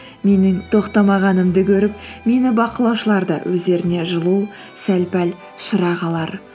менің тоқтамағанымды көріп мені бақылаушылар да өздеріне жылу сәл пәл шырақ алар